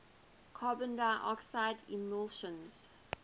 carbon dioxide emissions